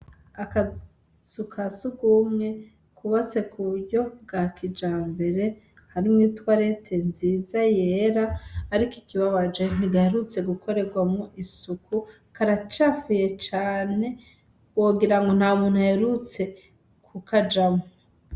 Akazu kasugwumwe kubatse kuburyo bwa kijambere, harimwo i twarete nziza yera, ariko ikibabaje ntigaherutse gukorerwamwo isuku, karacafuye cane, wogirango ntamuntu aherutse kukajamwo.